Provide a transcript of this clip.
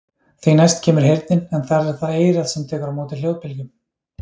Því næst kemur heyrnin en þar er það eyrað sem tekur á móti hljóðbylgjum.